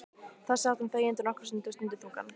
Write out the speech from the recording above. Þar sat hann þegjandi nokkra stund og stundi þungan.